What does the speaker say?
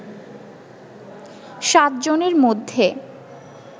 সাতজনের মধ্যে